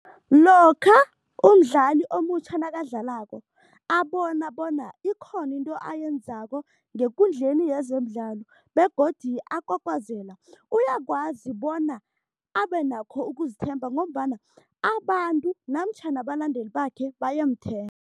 Lokha umdlali omutjha nakadlalako abona bona ikhona into ayenzako ngekundleni yezemidlalo begodu akwakwazela, uyakwazi bona abe nakho ukuzithemba ngombana abantu namtjhana abalandeli bakhe bayamthemba.